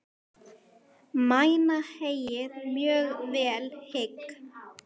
Mæna heyið mjög vel hygg.